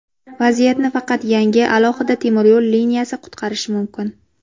Vaziyatni faqat yangi, alohida temiryo‘l liniyasi qutqarishi mumkin.